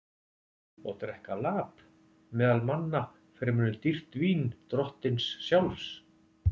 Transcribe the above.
Og drekka lap meðal manna fremur en dýrt vín drottins sjálfs?